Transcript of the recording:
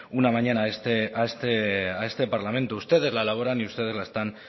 una mañana a este parlamento ustedes la elaboran y ustedes la están